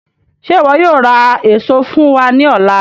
Ṣe iwọ yóò ra eso fun wa ni ọla?